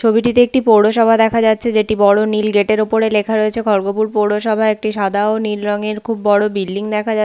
ছবিটিতে একটি পৌরসভা দেখা যাচ্ছে যেটি বড় নীল গেট - এর ওপর লেখা রয়েছে খরগপুর পৌরসভা একটি সাদা ও নীল রঙের খুব বড় বিল্ডিং দেখা যা--